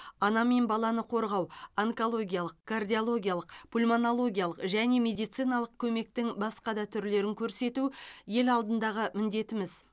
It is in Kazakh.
ана мен баланы қорғау онкологиялық кардиологиялық пульмонологиялық және медициналық көмектің басқа да түрлерін көрсету ел алдындағы міндетіміз